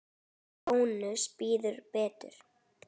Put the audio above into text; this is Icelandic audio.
Bónus býður betur.